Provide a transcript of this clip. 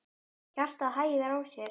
Hjartað hægir á sér.